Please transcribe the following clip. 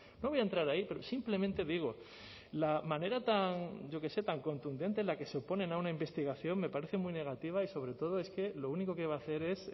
no voy a entrar ahí pero simplemente digo la manera yo qué sé tan contundente en la que se oponen a una investigación me parece muy negativa y sobre todo es que lo único que va a hacer es